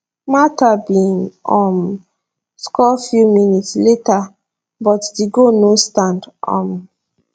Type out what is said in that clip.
martha bin um score few minutes later but di goal no stand um